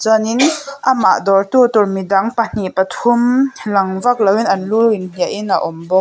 chuan in amah dawr tu tur midang pahnih pathum lang vak lo in an lu in hliah in a awm bawk.